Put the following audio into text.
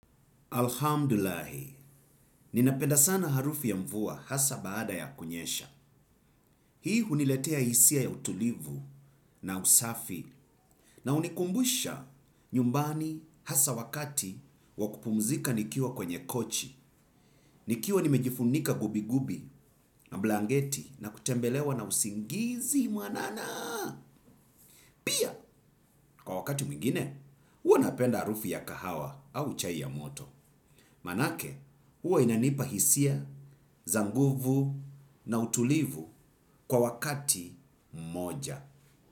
Alhamdulahi, ninapenda sana harufi ya mvua hasa baada ya kunyesha. Hii huniletea hisia ya utulivu na usafi na unikumbusha nyumbani hasa wakati wakupumzika nikiwa kwenye kochi. Nikiwa nimejifunika gubi gubi na blangeti na kutembelewa na usingizi mwanana. Pia, kwa wakati mwingine, uwa napenda arufi ya kahawa au chai ya moto. Manake, huwa inanipa hisia, za nguvu na utulivu kwa wakati mmoja.